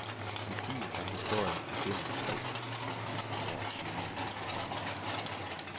I byen er historien igennem tre tusinde år synlig. punktum